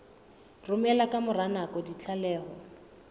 romela ka mora nako ditlaleho